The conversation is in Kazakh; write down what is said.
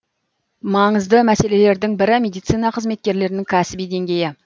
маңызды мәселелердің бірі медицина қызметкерлерінің кәсіби деңгейі